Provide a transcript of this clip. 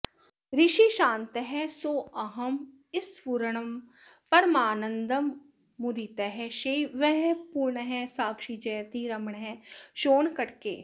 ऋषिः शान्तः सोऽहंस्फुरणपरमानन्दमुदितः शिवः पूर्णः साक्षी जयति रमणः शोणकटके